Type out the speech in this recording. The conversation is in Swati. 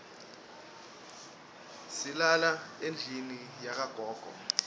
silala endlini yakagogo